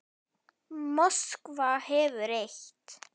Moskva hefur eitt.